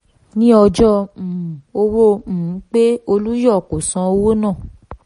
ní ọjọ́ um owó um pé olùyọ kò san owó náà